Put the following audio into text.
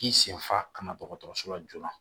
K'i senfa kana dɔgɔtɔrɔso la joona